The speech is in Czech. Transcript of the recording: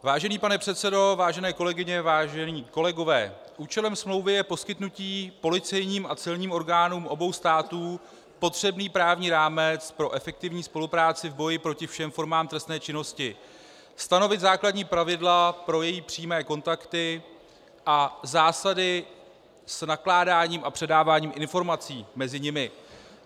Vážený pane předsedo, vážené kolegyně, vážení kolegové, účelem smlouvy je poskytnutí policejním a celním orgánům obou států potřebný právní rámec pro efektivní spolupráci v boji proti všem formám trestné činnosti, stanovit základní pravidla pro její přímé kontakty a zásady s nakládáním a předáváním informací mezi nimi.